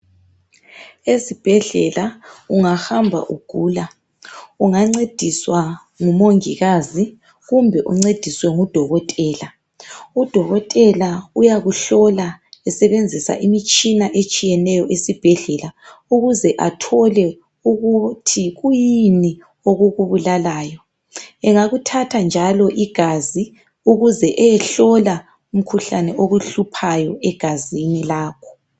Ezibhedlela ungahamba ugula ungancediswa ngumongikazi kumbe uncediswe ngudokotela. Udokotela uyakuhlola esebenzisa imitshina etshiyeneneyo esibhedlela ukuze athole ukuthi kuyini okukubulalayo. Engakuthatha njalo igazi ukuze eyehlole umkhuhlane okuhluphayo egazini lakho.